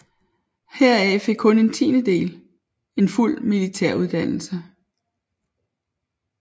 Heraf fik kun en tiendedel en fuld militær uddannelse